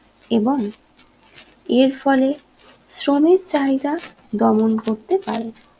এবং এর ফলে শ্রমের চাহিদা দমন করতে পারে